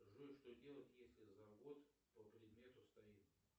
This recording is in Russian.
джой что делать если завод по предмету стоит